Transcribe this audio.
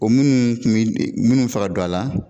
O minnu minnu bɛ fɛ ka don a la